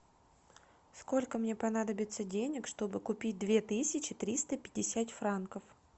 сколько мне понадобится денег чтобы купить две тысячи триста пятьдесят франков